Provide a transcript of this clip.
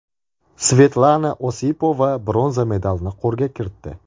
Svetlana Osipova bronza medalini qo‘lga kiritdi.